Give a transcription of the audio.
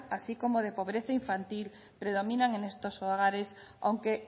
así como de pobreza infantil predominan en estos hogares aunque